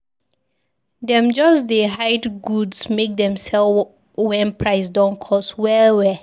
Dem just dey hide goods make dem sell wen price don cost well well.